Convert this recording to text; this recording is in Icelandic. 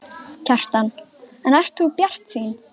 Kjartan: En ert þú bjartsýn?